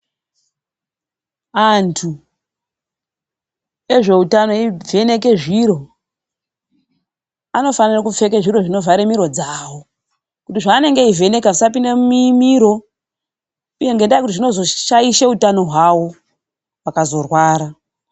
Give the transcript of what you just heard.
Antu ezvoutano evheneke zviro, anofanira kupfeke zviro zvinovhare mino dzavo kuti zvaanenge achivheneka zvisapinde mumiro uye kuti nendaa yekuti zvinozoshaishe utano hwavo, vakazorwara.